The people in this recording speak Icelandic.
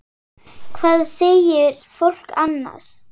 Hvað segir fólk annars?